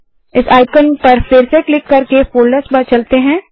इस आइकन पर फिर से क्लिक करके वापस फोल्डर्स पर चलते हैं